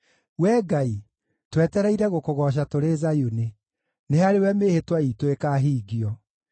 Wee Ngai, twetereire gũkũgooca tũrĩ Zayuni; nĩ harĩwe mĩĩhĩtwa iitũ ĩkaahingio.